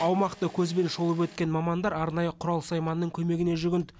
аумақты көзбен шолып өткен мамандар арнайы құрал сайманның көмегіне жүгінді